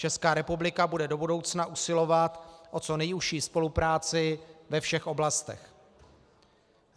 Česká republika bude do budoucna usilovat o co nejužší spolupráci ve všech oblastech.